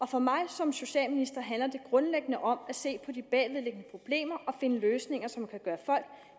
for mig som socialminister handler det grundlæggende om at se på de bagvedliggende problemer og finde løsninger som kan gøre folk